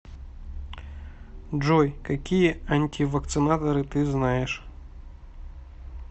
джой какие антивакцинаторы ты знаешь